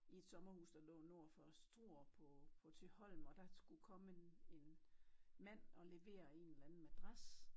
I et sommerhus der lå nord for Struer på på Thyholm og der skulle komme en en mand og levere en eller anden madras